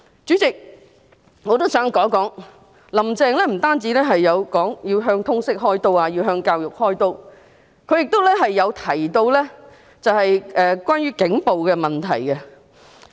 主席，我也想談談，"林鄭"不止說過要向通識和教育"開刀"，她亦曾提到警暴的問題。